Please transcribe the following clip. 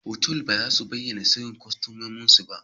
Otal ba su bayyana asirin customomin su.